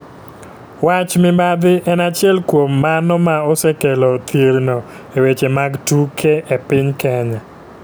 wach mibadhi en achiel kuom mano ma osekelo thirno e weche mag tuke e piny kenya.